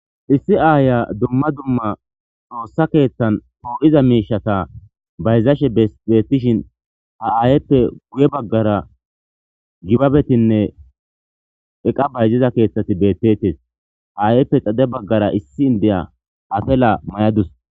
Issi aaya dumma dumma xoossa keeththan too'iza miishata bayzashe beeettishin ha aayeppe guye baggara gibabetinne eqa bayziza keeththati beettettes haayeyppe xade baggara issi indeya afela may'adus.